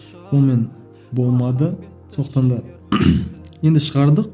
онымен болмады сондықтан да енді шығардық